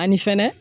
Ani fɛnɛ